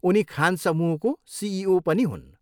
उनी खान समूहको सिइओ पनि हुन्।